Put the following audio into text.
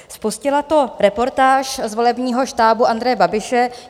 Spustila to reportáž z volebního štábu Andreje Babiše.